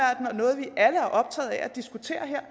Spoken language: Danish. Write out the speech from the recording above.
diskutere